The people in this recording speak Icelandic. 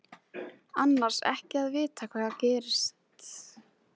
Annars ekki að vita hvað gerast kynni.